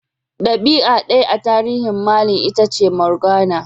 Dabi'a daya a tarihin Merlin Itace Morgana.